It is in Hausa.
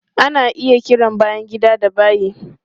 Ana iya kiran bayan gida da bayi.